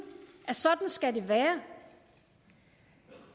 at sådan skal det være